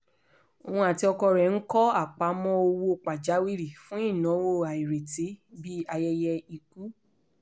óun àti ọkọ rẹ̀ ń kọ́ àpamọ́ owó pajawiri fún ináwó àìrètí bíi ayẹyẹ ikú